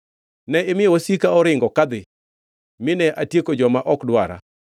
Ne imiyo wasika oringo kadhi, mine atieko joma ok dwara.